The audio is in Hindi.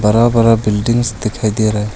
हरा भरा बिल्डिंग्स दिखाई दे रहा है।